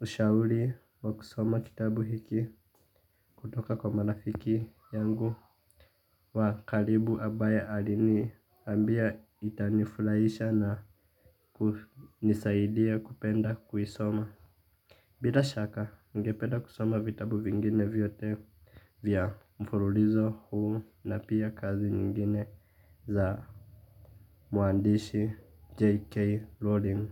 ushauri wa kusoma kitabu hiki kutoka kwa marafiki yangu wa karibu ambaye aliniambia itanifurahisha na kunisaidia kupenda kuisoma. Bila shaka ningepeda kusoma vitabu vingine vyote vya mfululizo huu na pia kazi nyingine za muandishi JK Rowling.